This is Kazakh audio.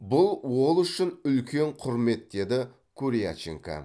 бұл ол үшін үлкен құрмет деді куряченко